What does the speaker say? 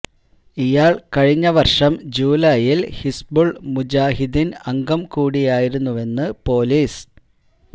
ഇയാൾ കഴിഞ്ഞ വർഷം ജൂലായിൽ ഹിസ്ബുൾ മുജാഹിദീൻ അംഗം കൂടിയായിരുന്നുവെന്ന് പൊലീസ്